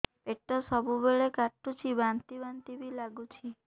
ପେଟ ସବୁବେଳେ କାଟୁଚି ବାନ୍ତି ବାନ୍ତି ବି ଲାଗୁଛି